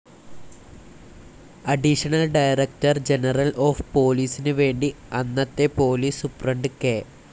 Additional director general of പൊലീസിന് വേണ്ടി അന്നത്തെ പോലീസ് സുപ്രണ്ട് കെ.